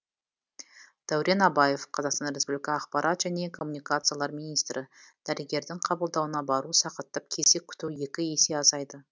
дәурен абаев қазақстан республика ақпарат және коммуникациялар министрі дәрігердің қабылдауына бару сағаттап кезек күту екі есе азайды